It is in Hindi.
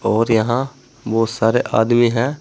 और यहां बहुत सारे आदमी हैं।